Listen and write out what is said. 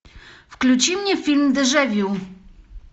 включи мне фильм дежавю